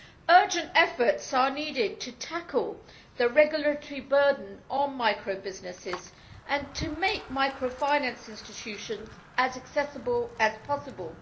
Urgent efforts are needed to tackle the regulatory burden on micro businesses and to make micro finance institutions as accessible as possible.